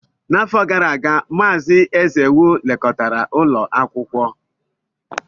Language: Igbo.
N'afọ gara aga, Mazị Ezewu lekọtara ụlọ akwụkwọ.